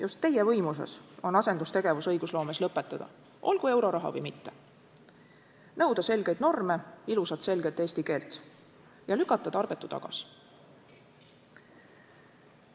Just teie võimuses on asendustegevus õigusloomes lõpetada – olgu euroraha või mitte –, nõuda selgeid norme, ilusat, selget eesti keelt ja lükata tarbetu tagasi.